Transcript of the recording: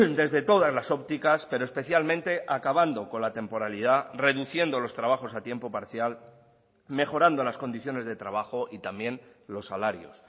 desde todas las ópticas pero especialmente acabando con la temporalidad reduciendo los trabajos a tiempo parcial mejorando las condiciones de trabajo y también los salarios